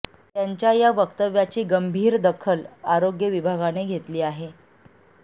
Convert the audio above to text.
त्यांच्या या वक्तव्याची गंभीर दखल आरोग्य विभागाने घेतली आहे